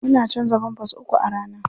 Muna canza pampers uku a rana.